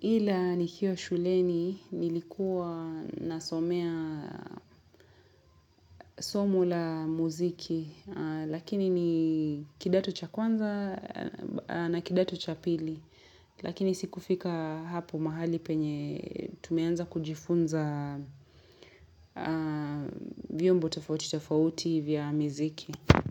ila nikiwa shuleni nilikuwa nasomea somo la muziki lakini ni kidato cha kwanza na kidato cha pili lakini siku fika hapo mahali penye tumeanza kujifunza vyombo tofauti tofauti vya muziki.